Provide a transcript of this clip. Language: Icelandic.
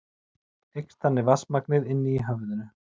Eykst þannig vatnsmagnið inni í höfðinu.